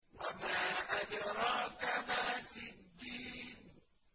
وَمَا أَدْرَاكَ مَا سِجِّينٌ